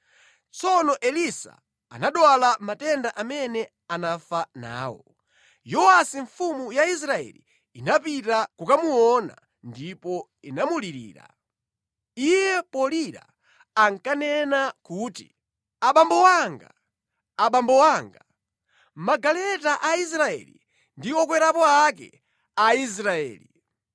Tsono Elisa anadwala matenda amene anafa nawo. Yowasi mfumu ya Israeli inapita kukamuona ndipo inamulirira. Iye polira ankanena kuti, “Abambo anga! Abambo anga! Magaleta a Israeli ndi okwerapo ake a Israeli!”